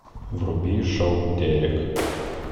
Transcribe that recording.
вруби шоу дерек